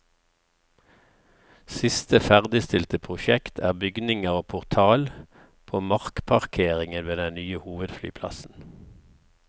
Siste ferdigstilte prosjekt er bygninger og portal på markparkeringen ved den nye hovedflyplassen.